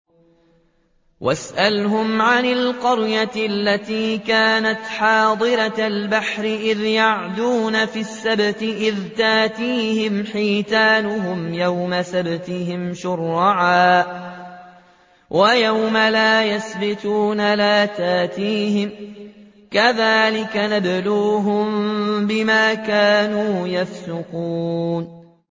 وَاسْأَلْهُمْ عَنِ الْقَرْيَةِ الَّتِي كَانَتْ حَاضِرَةَ الْبَحْرِ إِذْ يَعْدُونَ فِي السَّبْتِ إِذْ تَأْتِيهِمْ حِيتَانُهُمْ يَوْمَ سَبْتِهِمْ شُرَّعًا وَيَوْمَ لَا يَسْبِتُونَ ۙ لَا تَأْتِيهِمْ ۚ كَذَٰلِكَ نَبْلُوهُم بِمَا كَانُوا يَفْسُقُونَ